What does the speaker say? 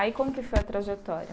Aí como que foi a trajetória?